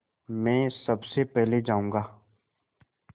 मैं सबसे पहले जाऊँगा